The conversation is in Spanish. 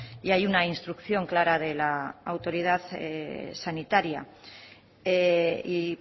y hay una instrucción clara de la autoridad sanitaria y